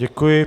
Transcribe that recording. Děkuji.